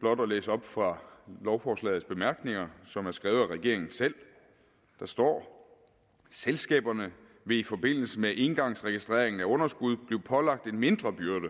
blot at læse op fra lovforslagets bemærkninger som er skrevet af regeringen selv der står selskaberne vil i forbindelse med engangsregistreringen af underskud blive pålagt en mindre byrde